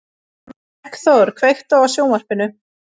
Eggþór, kveiktu á sjónvarpinu.